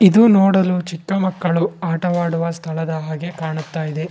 ಇದು ನೋಡಲು ಚಿಕ್ಕ ಮಕ್ಕಳು ಆಟವಾಡುವ ಸ್ಥಳದ ಹಾಗೆ ಕಾಣುತ್ತಾ ಇದೆ.